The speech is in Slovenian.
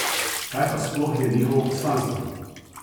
Kaj pa sploh je njihovo poslanstvo?